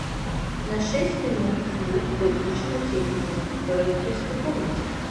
на шесть минут звук выключи на телике в родительской комнате